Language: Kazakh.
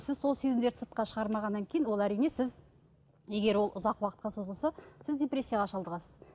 сіз сол сезімдерді сыртқа шығармағаннан кейін ол әрине сіз егер ол ұзақ уақытқа созылса сіз депрессияға шалдығасыз